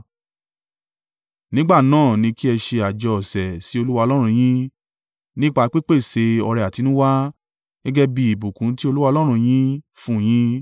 Nígbà náà ni kí ẹ ṣe àjọ ọ̀sẹ̀ sí Olúwa Ọlọ́run yín, nípa pípèsè ọrẹ àtinúwá, gẹ́gẹ́ bí ìbùkún tí Olúwa Ọlọ́run yín fún un yín.